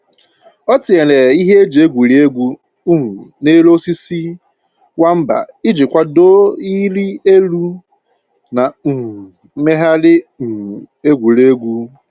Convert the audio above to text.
O tinyere ihe eji egwuri egwu um n'elu osisi nwamba iji kwado ịrị elu na um mmegharị um egwuregwu